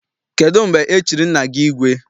Kedụ mgbe e chiri nna gị igwe?